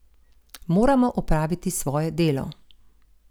Moramo opraviti svoje delo.